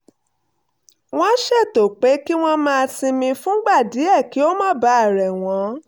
wọ́n ṣètò pé kí wọ́n máa sinmi fúngbà díẹ̀ kí ó má bàa rẹ̀ wọ́n